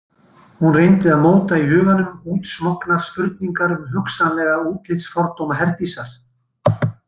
Hún reyndi að móta í huganum útsmognar spurningar um hugsanlega útlitsfordóma Herdísar.